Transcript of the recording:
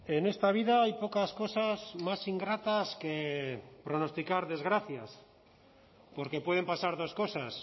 en esta vida hay pocas cosas más ingratas que pronosticar desgracias porque pueden pasar dos cosas